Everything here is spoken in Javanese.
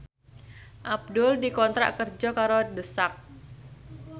Abdul dikontrak kerja karo The Sak